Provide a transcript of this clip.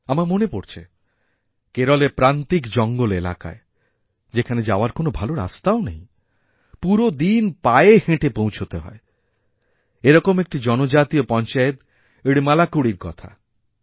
আমার মনে পড়ছে কেরলেরপ্রান্তিক জঙ্গল এলাকায় যেখানে যাওয়ার কোনও ভালো রাস্তাও নেই পুরো দিন পায়েহেঁটে পৌঁছতে হয় এরকম একটি জনজাতীয় পঞ্চায়েত ইড্মালাকুড়ির কথা